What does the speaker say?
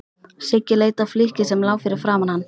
Siggi leit á flykkið sem lá fyrir framan hann.